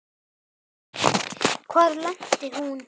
Hvar lenti hún?